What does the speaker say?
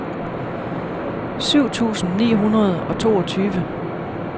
syv tusind ni hundrede og toogtyve